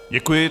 Děkuji.